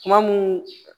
Kuma mun